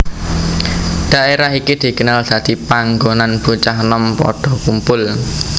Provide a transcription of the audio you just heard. Dhaérah iki dikenal dadi panggonan bocah enom padha kumpul